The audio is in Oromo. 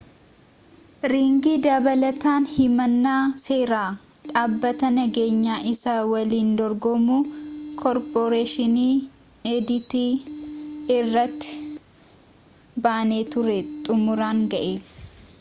riingi dabalataan himannaa seeraa dhaabbata nageenyaa isa waliin dorgomu koorporeeshinii adt irratti banee ture xumuraan ga'e